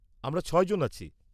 আমরা ছয়জন আছি।